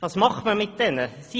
Was macht man mit diesen Fällen?